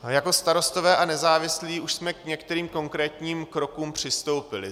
Jako Starostové a nezávislí už jsme k některým konkrétním krokům přistoupili.